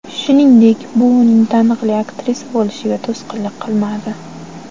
Shuningdek, bu uning taniqli aktrisa bo‘lishiga to‘sqinlik qilmadi.